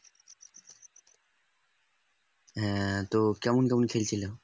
হ্যাঁ তো কেমন কেমন খেলছিল